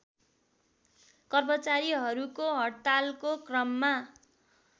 कर्मचारीहरूको हडतालको क्रममा